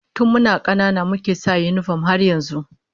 Tun muna 'yan kanana muke sa yinifom har yanzu